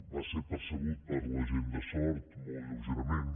va ser percebut per la gent de sort molt lleugerament